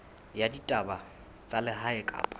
ya ditaba tsa lehae kapa